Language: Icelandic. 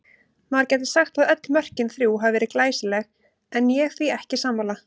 Maður gæti sagt að öll mörkin þrjú hafi verið glæsileg en ég því ekki sammála.